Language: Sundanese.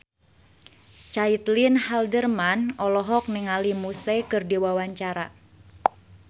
Caitlin Halderman olohok ningali Muse keur diwawancara